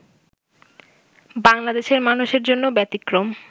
বাংলাদেশের মানুষের জন্য ব্যতিক্রম